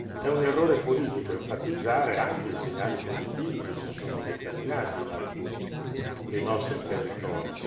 È un errore politico enfatizzare anche i segnali positivi che si sono determinati in alcuni dei nostri territori.